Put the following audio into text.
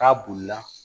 N'a bolila